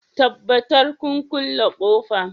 Tabbatar kun kulle ƙofar